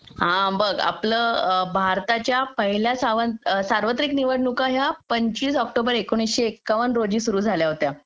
हा बघ आपलं भारताच्या पहिल्या सार्वत्रिक निवडणुका या पंचवीस ऑक्टोबर एकोणीसशे एकावन रोजी सुरू झाल्या होत्या